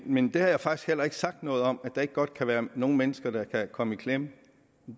men jeg har faktisk heller ikke sagt noget om at der ikke godt kan være nogle mennesker der kan komme i klemme